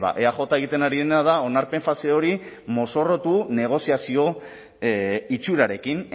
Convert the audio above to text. eaj egiten ari dena da onarpen fase hori mozorrotu negoziazio itxurarekin